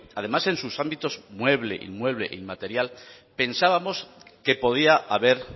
además en sus ámbitos mueble inmueble e inmaterial pensábamos que podía haber